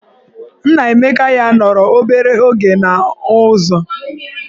Nnaemeka ya nọrọ obere oge n'ụzọ.